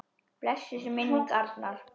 Blessuð sé minning Arnar.